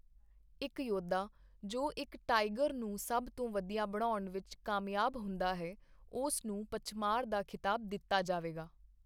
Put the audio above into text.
ਇੱਕ ਯੋਧਾ ਜੋ ਇੱਕ ਟਾਈਗਰ ਨੂੰ ਸਭ ਤੋਂ ਵਧੀਆ ਬਣਾਉਣ ਵਿੱਚ ਕਾਮਯਾਬ ਹੁੰਦਾ ਹੈ, ਉਸ ਨੂੰ 'ਪਚਮਾਰ' ਦਾ ਖ਼ਿਤਾਬ ਦਿੱਤਾ ਜਾਵੇਗਾ।